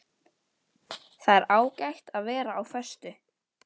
Það er ágætt að vera á föstu.